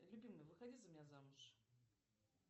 любимый выходи за меня замуж